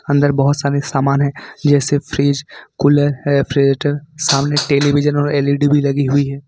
अंदर बहुत सारे सामान है जैसे फ्रिज कूलर है रेफ्रिजरेटर सामने टेलीविजन और एल_ई_डी भी लगी हुई है।